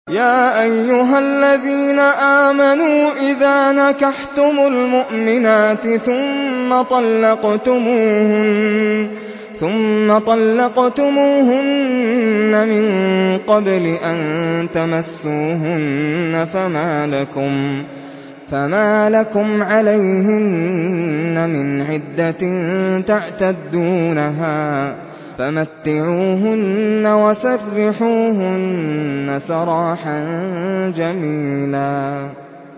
يَا أَيُّهَا الَّذِينَ آمَنُوا إِذَا نَكَحْتُمُ الْمُؤْمِنَاتِ ثُمَّ طَلَّقْتُمُوهُنَّ مِن قَبْلِ أَن تَمَسُّوهُنَّ فَمَا لَكُمْ عَلَيْهِنَّ مِنْ عِدَّةٍ تَعْتَدُّونَهَا ۖ فَمَتِّعُوهُنَّ وَسَرِّحُوهُنَّ سَرَاحًا جَمِيلًا